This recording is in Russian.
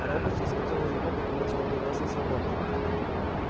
роботс изготовила его потому что он прекрасно сработан